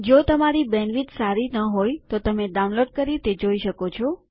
જો તમારી બેન્ડવિડ્થ સારી ન હોય તો તમે ડાઉનલોડ કરી તે જોઈ શકો છો